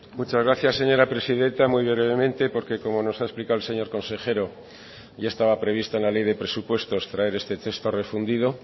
muchas gracias señora presidenta muy brevemente porque como nos ha explicado el señor consejero ya estaba prevista en la ley de presupuestos traer este texto refundido